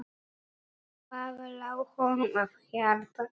Hvað lá honum á hjarta?